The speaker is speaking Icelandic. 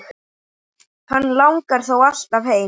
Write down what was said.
Hann langar þó alltaf heim.